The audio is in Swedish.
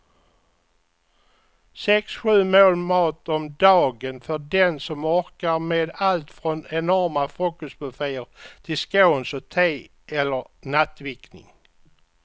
Sex, sju mål mat om dagen för den som orkar med allt från enorma frukostbufféer till scones och te eller nattvickning.